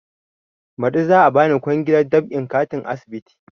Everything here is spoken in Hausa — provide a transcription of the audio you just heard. Baɗi za a bani kwangilar dab'in katin asibiti